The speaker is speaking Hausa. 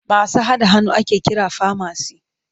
Masu haɗa magani ake kira famasi.